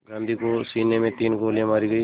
गांधी को सीने में तीन गोलियां मारी गईं